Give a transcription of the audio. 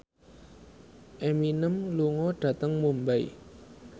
Eminem lunga dhateng Mumbai